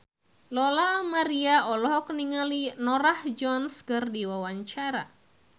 Lola Amaria olohok ningali Norah Jones keur diwawancara